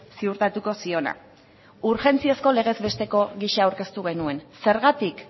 ziurtatuko ziona urgentziazko legez besteko gisa aurkeztu genuen zergatik